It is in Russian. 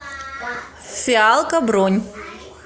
фиалка бронь